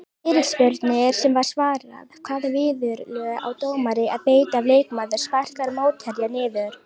Fyrirspurnir sem var svarað: Hvaða viðurlög á dómari að beita ef leikmaður sparkar mótherja niður?